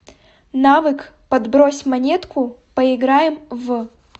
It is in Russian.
навык подбрось монетку поиграем в